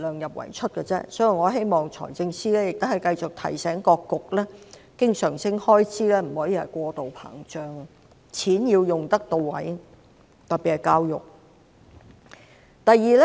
因此，我希望財政司司長繼續提醒各局，經常性開支不能過度膨脹，錢要用得到位，特別是教育方面的開支。